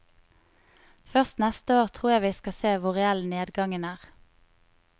Først neste år tror jeg vi skal se hvor reell nedgangen er.